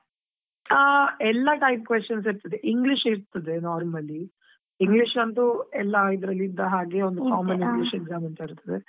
ಆ, ಎಲ್ಲಾ type questions ಇರ್ತದೆ, English ಇರ್ತದೆ normally . English ಅಂತೂ ಎಲ್ಲಾದ್ರಲ್ಲಿ ಇದ್ದ ಹಾಗೆ, ಒಂದು common exam ಅಂತ ಇರ್ತದೆ.